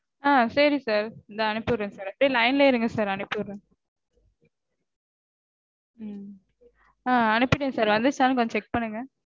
ஆஹ் சரி sir. தோ அனுப்பிவிடறேன் sir. அப்படியே line லயே இருங்க sir. அனுப்பிவிடறேன். ஆஹ் அனுப்பிட்டேன் வந்துருச்சானு கொஞ்சம் check பண்ணுங்க